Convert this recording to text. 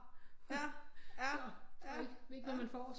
Ikke hvad man får